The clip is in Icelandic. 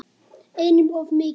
Einum of mikið.